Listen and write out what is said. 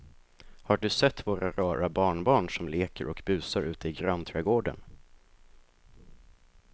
Har du sett våra rara barnbarn som leker och busar ute i grannträdgården!